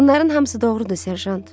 Bunların hamısı doğrudur, Serjant.